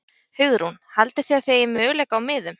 Hugrún: Haldið þið að þið eigið möguleika á miðum?